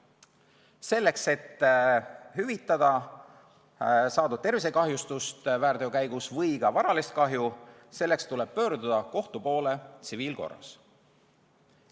Selleks, et hüvitada väärteo käigus saadud tervisekahjustust või ka varalist kahju, tuleb pöörduda kohtu poole tsiviilkorras.